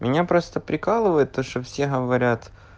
меня просто прикалывает то что все говорят